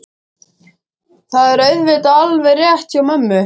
Þetta er auðvitað alveg rétt hjá mömmu.